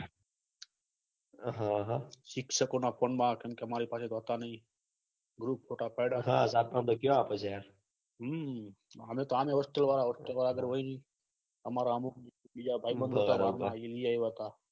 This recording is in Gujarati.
શિક્ષકો ના phone મા કેમ કે અમારી પાસે હોતા નહી group ફોટા પડ્યા સાતમાં પછી કયો આપડે જાહે મને તો આમે hostel વાળા hostel વાળા હોય જ અમારા અમુક બીજા ભાઈ બંધો એભી આયીવા હતા